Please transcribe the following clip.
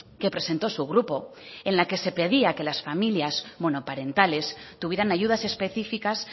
que presentó su grupo en la que se pedía que las familias monoparentales tuvieran ayudas específicas